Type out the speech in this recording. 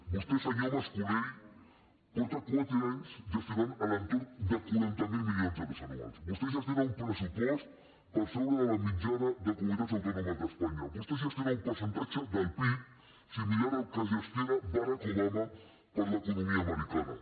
vostè senyor mas colell porta quatre anys gestionant a l’entorn de quaranta miler milions d’euros anuals vostè gestiona un pressupost per sobre de la mitjana de comunitats autònomes d’espanya vostè gestiona un percentatge del pib similar al que gestiona barack obama per a l’economia americana